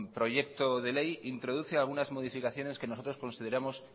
proyecto de ley introduce algunas modificaciones que nosotros consideramos